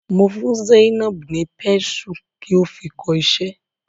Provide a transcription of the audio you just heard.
Mo fún Zainab ni pésù ki o fi kọ iṣẹ́.